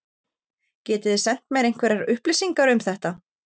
Getið þið sent mér einhverjar upplýsingar um þetta?